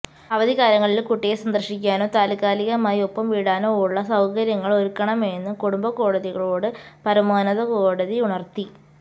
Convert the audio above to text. അവധിക്കാലങ്ങളില് കുട്ടിയെ സന്ദര്ശിക്കാനോ താത്കാലികമായി ഒപ്പം വിടാനോ ഉള്ള സൌകര്യങ്ങള് ഒരുക്കണമെന്നും കുടുംബ കോടതികളോട് പരമോന്നത കോടതി ഉണര്ത്തി